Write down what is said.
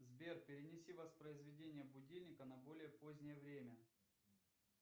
сбер перенеси воспроизведение будильника на более позднее время